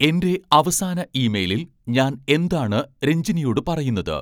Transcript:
എന്റെ അവസാന ഇമെയിലിൽ ഞാൻ എന്താണ് രഞ്ജിനിയോട് പറയുന്നത്